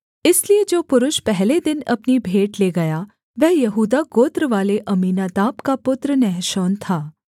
इसलिए जो पुरुष पहले दिन अपनी भेंट ले गया वह यहूदा गोत्रवाले अम्मीनादाब का पुत्र नहशोन था